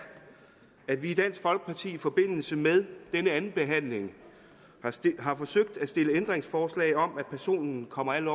at vi i dansk folkeparti i forbindelse med denne andenbehandling har forsøgt at stille ændringsforslag om at personen kommer af